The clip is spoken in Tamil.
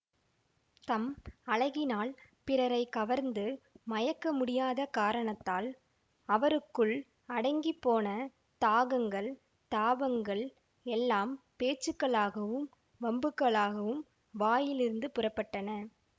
தம் அழகினால் பிறரை கவர்ந்து மயக்க முடியாத காரணத்தால் அவருக்குள் அடங்கிப் போன தாகங்கள் தாபங்கள் எல்லாம் பேச்சுக்களாகவும் வம்புகளாகவும் வாயிலிருந்து புறப்பட்டன